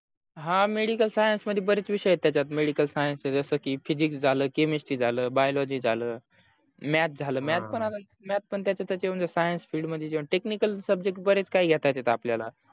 हा medical science मध्ये बरेच विषय आहे त्याचात medical science चे जस की physic झाल chemistry झाल biology झाल math झाल math पण त्याचे त्याचे science speed मध्ये जेंव्हा technical subject बरेच काही घेता येत आपल्याला